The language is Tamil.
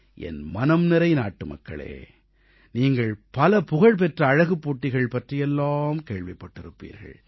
என்மனம் நிறைந்த நாட்டுமக்களே நீங்கள் புகழ்பெற்ற பல அழகுப் போட்டிகள் பற்றியெல்லாம் கேள்விப்பட்டிருப்பீர்கள்